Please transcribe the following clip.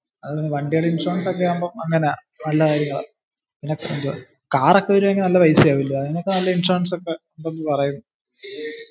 വണ്ടിയുടെ ഇൻഷുറൻസ് ഒക്കെ ആവുമ്പൊ അങ്ങനാ. നല്ല കാര്യങ്ങളെ. car ഒക്കെ വെര്ച്വല് നല്ല പൈസ ആവും ല്ലേ. അതിനൊക്കെ നല്ല ഇൻഷുറൻസ് ഒക്കെ കിട്ടും എന്ന പറയുന്ന്നു.